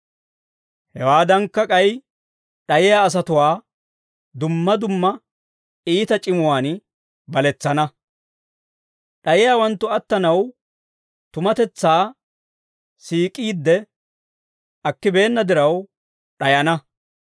Hewaadankka, k'ay d'ayiyaa asatuwaa dumma dumma iita c'imuwaan baletsana. D'ayiyaawanttu attanaw tumatetsaa siik'iide akkibeenna diraw d'ayana.